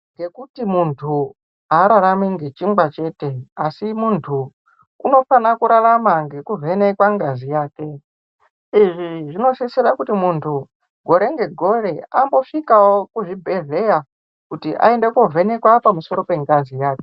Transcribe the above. Ngekuti muntu ararami ngechingwa chete asi muntu unofanira kurarama ngekuvhenekwa ngazi yake, izvi zvinosisira kuti muntu gore negore ambosvikawo kuzvibhehleya kuti aende kovhenekwa pamusoro pengazi yake.